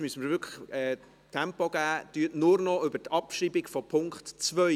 Äussern Sie sich nur noch über die Abschreibung von Punkt 2.